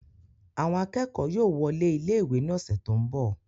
Àwọn akẹ́kọ̀ọ́ yóò wọlé ilé ìwé ní ọ̀sẹ̀ tó ń bọ̀